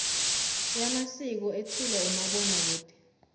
yamasiko ethulwa umabonakude